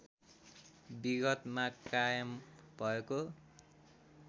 विगतमा कायम भएको